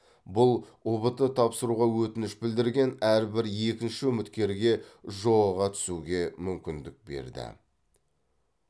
бұл ұбт тапсыруға өтініш білдірген әрбір екінші үміткерге жоо ға түсуге мүмкіндік берді